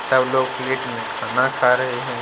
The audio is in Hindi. सब लोग प्लेट में खाना खा रहे हैं।